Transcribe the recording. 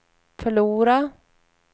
förlora